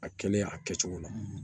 A kɛlen a kɛcogo la